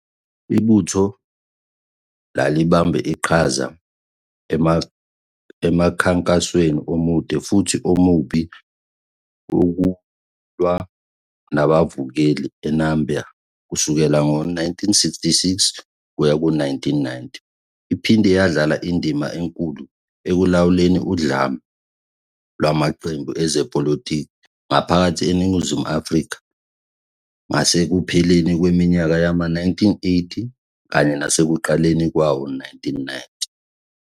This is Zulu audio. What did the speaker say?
Ibutho lalibambe iqhaza emkhankasweni omude futhi omubi wokulwa nabavukeli eNamibia kusukela ngo-1966 kuya ku-1990. Iphinde yadlala indima enkulu ekulawuleni udlame lwamaqembu ezepolitiki ngaphakathi eNingizimu Afrika ngasekupheleni kweminyaka yama-1980 kanye nasekuqaleni kwawo-1990.